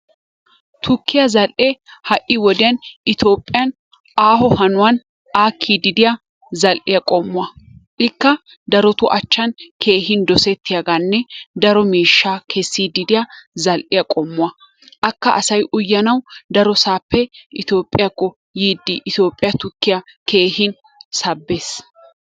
Tuukkiya zal"ee ha"i wodiyan Itoophphiyan aaho hanuwan aakkiiddi diya zal"iya qommuwa. Ikka darotu achchan keehin dosettiyagaanne daro miishshaa kessiiddi diya zal"iya qommuwa. Akka asay uyanawu darosaappe Toophphiyakko yiiddi Itooohphiya tukkiya keehin sabbiis.